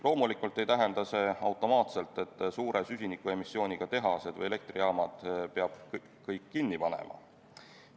Loomulikult ei tähenda see automaatselt, et kõik suure süsinikuemissiooniga tehased või elektrijaamad peab kinni panema.